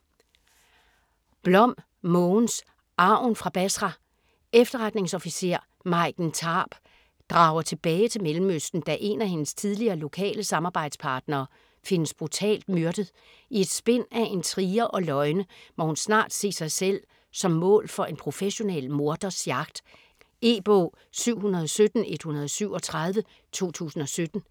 Blom, Mogens: Arven fra Basra Efterretningsofficer, Maiken Tarp, drager tilbage til Mellemøsten da en af hendes tidligere lokale samarbejdspartnere findes brutalt myrdet. I et spind af intriger og løgne må hun snart se sig selv som mål for en professionel morders jagt. E-bog 717137 2017.